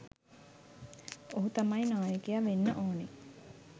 ඔහු තමයි නායකය වෙන්න ඕනෙ